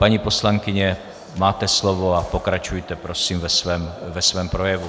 Paní poslankyně, máte slovo a pokračujte prosím ve svém projevu.